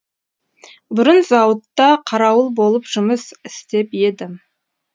бұрын зауытта қарауыл болып жұмыс істеп едім